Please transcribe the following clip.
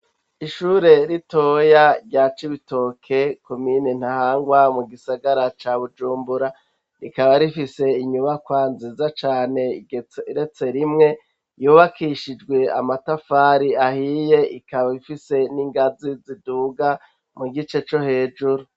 Ishure ritoya rya Cibitoke, komine Ntahangwa, mu gisagara ca Bujumbura, rikaba rifise inyubakwa nziza cane igeretse rimwe, yubakishijwe amatafari ahiye, ikaba ifise n'ingazi ziduga mu gice co hejuru.